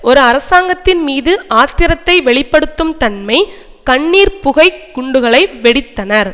ஒருஅரசாங்கத்தின்மீது ஆத்திரத்தை வெளி படுத்தும் தன்மை கண்ணீர் புகை குண்டுகளை வெடித்தனர்